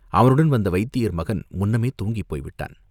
அவனுடன் வந்த வைத்தியர் மகன் முன்னமே தூங்கிப் போய்விட்டான்.